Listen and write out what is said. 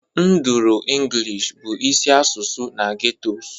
Nduru English bụ isi asụsụ na ghettos